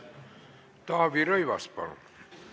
Taavi Rõivas, palun!